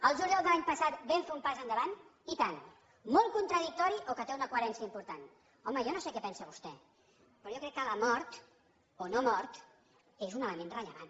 el juliol de l’any passat vam fer un pas endavant i tant molt contradictori o que té una coherència important home jo no sé què pensa vostè però jo crec que la mort o no mort és un element rellevant